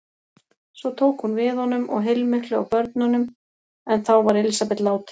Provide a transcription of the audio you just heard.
Svo tók hún við honum og heilmiklu af börnum en þá var Elísabet látin.